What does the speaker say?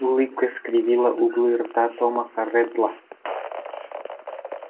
улыбка скривила углы рта томаса реддла